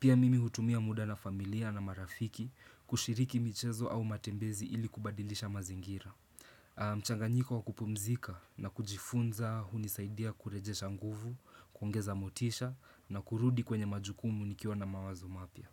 Pia mimi hutumia muda na familia na marafiki kushiriki michezo au matembezi ili kubadilisha mazingira. Mchanganyiko wa kupumzika na kujifunza hunisaidia kurejesha nguvu, kuongeza motisha na kurudi kwenye majukumu nikiwa na mawazo mapya.